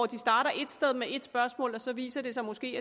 de starter ét sted med et spørgsmål og så viser det sig måske